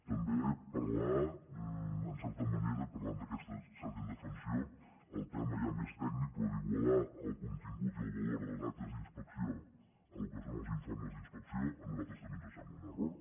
també en certa manera parlant d’aquesta indefensió el tema ja més tècnic però d’igualar el contingut i el valor de les actes d’inspecció al que són els informes d’inspecció a nosaltres també es sembla un error